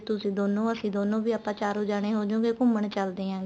ਤੁਸੀਂ ਦੋਨੋ ਅਸੀਂ ਦੋਨੋ ਵੀ ਆਪਾਂ ਚਾਰੋ ਜਾਣੇ ਹੋਜੂਗੇ ਘੁੰਮਣ ਚੱਲਦੇ ਆ